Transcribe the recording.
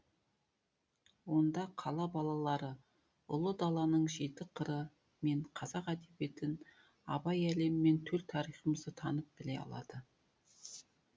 онда қала балалары ұлы даланың жеті қыры мен қазақ әдебиетін абай әлемі мен төл тарихымызды танып біле алады